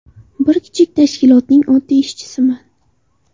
Bir kichik tashkilotning oddiy ishchisiman.